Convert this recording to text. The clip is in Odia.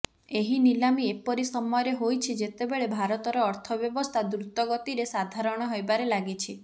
ଏହି ନିଲାମି ଏପରି ସମୟରେ ହୋଇଛି ଯେତେବେଳେ ଭାରତର ଅର୍ଥବ୍ୟବସ୍ଥା ଦ୍ରୁତ ଗତିରେ ସାଧାରଣ ହେବାରେ ଲାଗିଛି